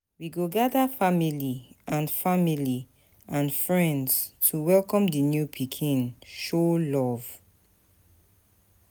We go gather family and family and friends to welcome di new pikin, show love.